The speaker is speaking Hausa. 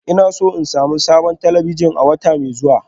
Ina so in sami sabon talabijin a wata mai zuwa